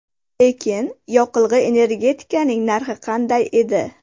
Lekin yoqilg‘i-energetikaning narxi qanday edi?